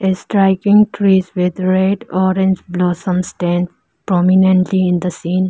striking trees with red orange blossom stand prominently in the scene.